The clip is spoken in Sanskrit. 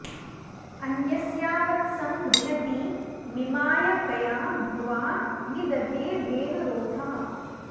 अन्यस्या वत्सं रिहती मिमाय कया भुवा नि दधे धेनुरूधः